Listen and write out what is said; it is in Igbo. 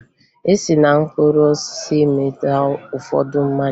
E si na mkpụrụ osisi emeta ụfọdụ mmanya